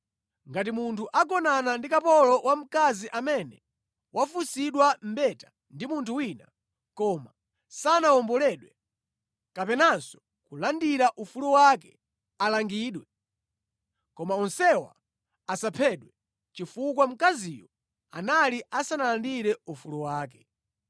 “ ‘Ngati munthu agonana ndi kapolo wamkazi amene wafunsidwa mbeta ndi munthu wina, koma sanawomboledwe kapenanso kulandira ufulu wake, alangidwe. Koma onsewa asaphedwe, chifukwa mkaziyo anali asanalandire ufulu wake.